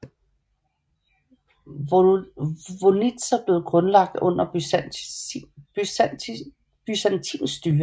Vonitsa blev grundlagt under byzantinsk styre